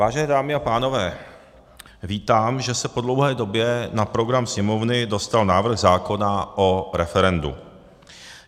Vážené dámy a pánové, vítám, že se po dlouhé době na program Sněmovny dostal návrh zákona o referendu.